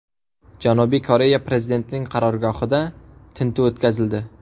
Janubiy Koreya prezidentining qarorgohida tintuv o‘tkazildi.